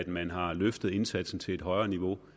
man har løftet indsatsen til et højere niveau